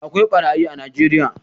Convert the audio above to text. Akwai ɓarayi a najeriya